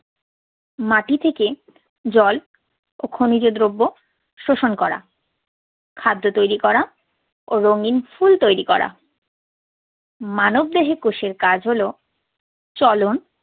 মাটি থেকে জল ও খনিজ দ্রব্য শোষণ করা, খাদ্য তৈরি করা ও রঙিন ফুল তৈরি করা। মানবদেহে কোষের কাজ হলো চলন